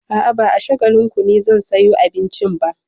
A'a, ba a Shagalinku ne zan sayo abincin ba.